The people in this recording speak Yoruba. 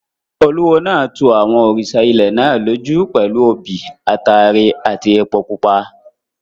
Olúwo náà tu àwọn òrìṣà ilẹ̀ náà lójú pẹ̀lú obì, ataare àti epo pupa.